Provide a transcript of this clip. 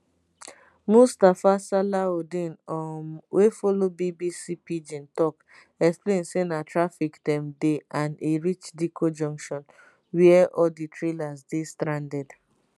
mustapha salaudeen um wey follow bbc pidgin tok explain say na traffic dem dey and e reach dikko junction wia all di trailers dey stranded